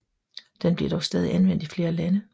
Den bliver dog stadig anvendt i flere lande